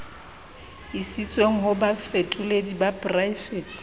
isitsweng ho bafetoledi ba poraefete